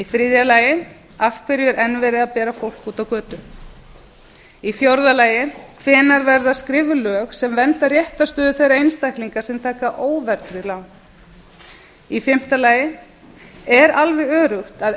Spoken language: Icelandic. þriðja af hverju er enn verið að bera fólk út á götu fjórða hvenær verða skrifuð lög sem vernda réttarstöðu þeirra einstaklinga sem taka óverðtryggð lán fimmta er alveg öruggt að